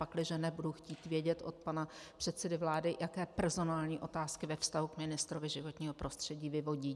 Pakliže ne, budu chtít vědět od pana předsedy vlády, jaké personální otázky ve vztahu k ministrovi životního prostředí vyvodí.